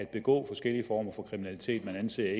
begå forskellige former for kriminalitet man anser